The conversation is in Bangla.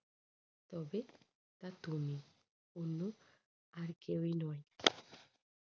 তবে তা তুমি অন্য আর কেউই নয়।